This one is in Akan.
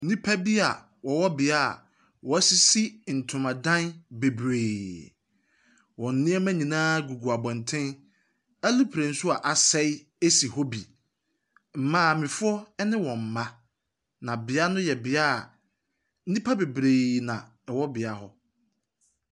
Nnipa bi wɔwɔ bea a wɔasisi ntoma dan bebree. Wɔn nneɛma nyinaa gugu abɔnten, aeroplane bi nso asɛe si hɔ bi. Maamefoɔ ne wɔn mma, na bea no yɛ bea nnipa bebree na ɛwɔ bea hɔ.